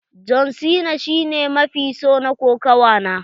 John cena shi ne mafi so na kokawa na.